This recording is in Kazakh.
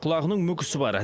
құлағының мүкісі бар